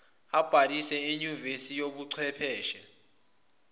abhalise enyuvesi yezobuchwepheshe